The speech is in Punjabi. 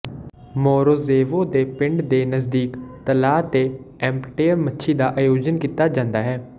ਮੋਰੋਜ਼ੇਵੋ ਦੇ ਪਿੰਡ ਦੇ ਨਜ਼ਦੀਕ ਤਲਾਅ ਤੇ ਐਮਪਟੇਅਰ ਮੱਛੀ ਦਾ ਆਯੋਜਨ ਕੀਤਾ ਜਾਂਦਾ ਹੈ